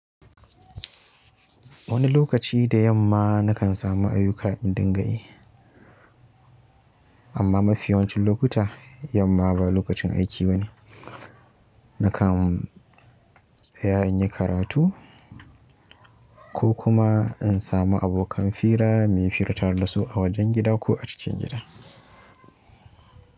Wani lokaci da yamma na kan samu ayyuka in dinga yi, amma mafi yawancin lokuta yamma ba lokacin aiki bane. Na kan tsaya in yi karatu ko kuma in samu abokan fira mayi fira tare da su a wajen gida ko a cikin gida.